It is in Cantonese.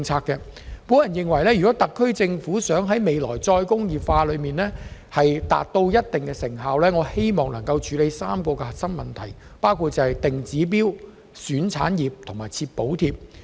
我認為，如果特區政府希望未來能在再工業化方面取得一定成效，應該處理3個核心問題，包括"定指標"、"選產業"及"設補貼"。